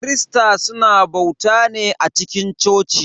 Kirista suna bauta ne a cikin coci.